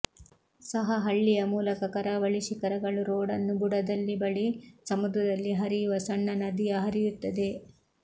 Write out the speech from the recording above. ಸಹ ಹಳ್ಳಿಯ ಮೂಲಕ ಕರಾವಳಿ ಶಿಖರಗಳು ರೋಡನ್ನು ಬುಡದಲ್ಲಿ ಬಳಿ ಸಮುದ್ರದಲ್ಲಿ ಹರಿಯುವ ಸಣ್ಣ ನದಿಯ ಹರಿಯುತ್ತದೆ